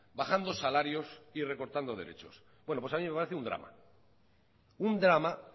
bajando salarios y recortando derechos bueno pues a mí me parece un drama un drama